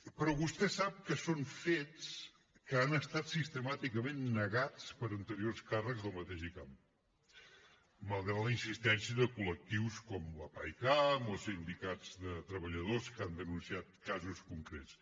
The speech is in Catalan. però vostè sap que són fets que han estat sistemàticament negats per anteriors càrrecs del mateix icam malgrat la insistència de col·lectius com la paicam o sindicats de treballadors que han denunciat casos concrets